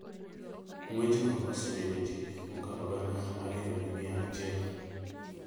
ng’wechno osenego ji mokalo gana ariyo gi mia achiel.